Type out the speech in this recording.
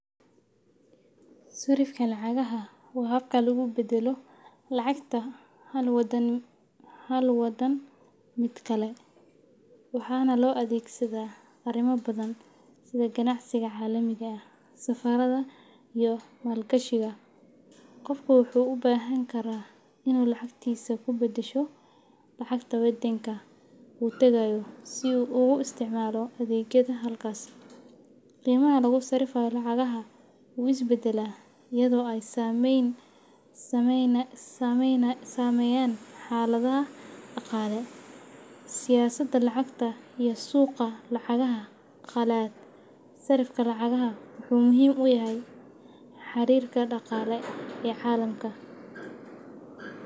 Sarifka lacagaha waa habka lagu beddelo lacagta hal waddan mid kale, waxaana loo adeegsadaa arrimo badan sida ganacsiga caalamiga ah, safarada iyo maalgashiga. Qofku wuxuu u baahan karaa inuu lacagtiisa ku beddesho lacagta waddanka uu tegayo si uu ugu isticmaalo adeegyada halkaas. Qiimaha lagu sarifayo lacagaha wuu is beddelaa iyadoo ay saameeyaan xaaladaha dhaqaale, siyaasadda lacagta, iyo suuqa lacagaha qalaad. Sarifka lacagaha wuxuu muhiim u yahay xiriirka dhaqaale ee caalamka.